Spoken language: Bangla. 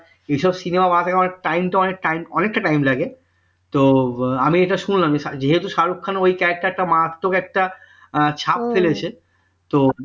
এইসব cinema বানাতে গেলে তো time তো অনেকটা time লাগে তো আমি এটা শুনলাম যেহেতু শাহরুখ খান ওই character টা মারাত্মক একটা ছাপ ফেলেছে তো